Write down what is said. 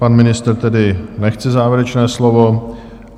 Pan ministr tedy nechce závěrečné slovo.